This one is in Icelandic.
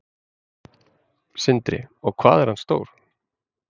Sindri: Og hvað er hann stór?